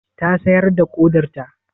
Ta sayar da ƙodarta?